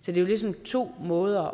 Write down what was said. så det er ligesom to måder